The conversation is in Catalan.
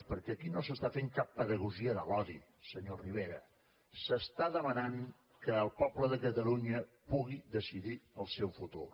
perquè aquí no s’està fent cap pedagogia de l’odi senyor rivera s’està demanant que el poble de catalunya pugui decidir el seu futur